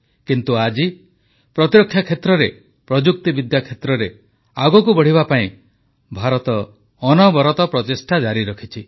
କିନ୍ତୁ ଆଜି ପ୍ରତିରକ୍ଷା କ୍ଷେତ୍ରରେ ପ୍ରଯୁକ୍ତିବିଦ୍ୟା କ୍ଷେତ୍ରରେ ଆଗକୁ ବଢ଼ିବା ପାଇଁ ଭାରତ ଅନବରତ ପ୍ରଚେଷ୍ଟା ଜାରି ରଖିଛି